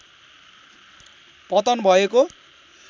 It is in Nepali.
पतन भएको